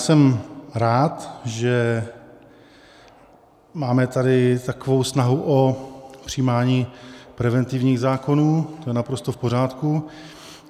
Jsem rád, že máme tady takovou snahu o přijímání preventivních zákonů, to je naprosto v pořádku.